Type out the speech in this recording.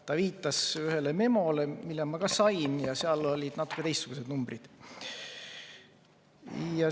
Ta viitas ühele memole, mille ma ka sain, ja seal olid natuke teistsugused numbrid.